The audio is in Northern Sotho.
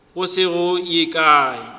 go se go ye kae